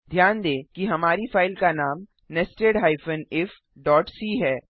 ध्यान दें कि हमारी फाइल का नाम nested ifसी है